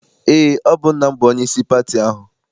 Eé, ọ bụ nna m bụ onyeisi pati ahụ.